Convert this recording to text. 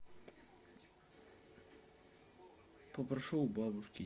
попрошу у бабушки